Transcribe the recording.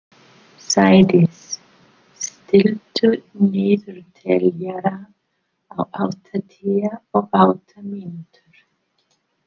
Sædís, stilltu niðurteljara á áttatíu og átta mínútur.